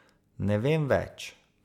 Ne vem več.